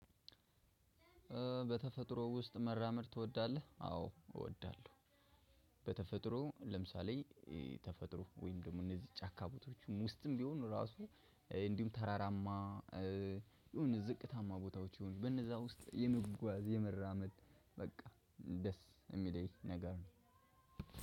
በተፈጥሮ ውስጥ መራመድ ትወዳለህ አዎ እወዳለሁ። በተፈጥሮ ለምሳሌ ተፈጥሮ ወይም ደግሞ እነዚህ ጫካ ቦታዎች ውስጥ ቢሆኑ ራሱ እንዲሁም ተራራማ የሆነ ዝቅታማ ቦታዎች ይሁን በነዛ ውስጥ የመጓዝ የመራመድ በቃ ደስ የሚለኝ ነገር ነው።